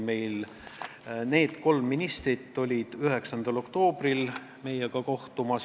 Need kolm ministrit kohtusid meiega 9. oktoobril.